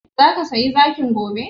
Zaka saya zakin gobe?